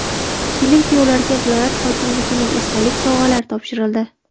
Kelin-kuyovlarga viloyat hokimligining esdalik sovg‘alari topshirildi.